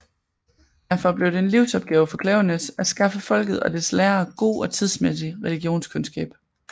Derfor blev det en livsopgave for Klaveness at skaffe folket og dets lærere god og tidsmæssig religionskundskab